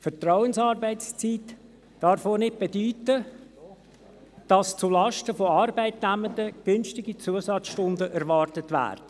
Vertrauensarbeitszeit darf auch nicht bedeuten, dass zulasten von Arbeitnehmenden günstige Zusatzstunden erwartet werden.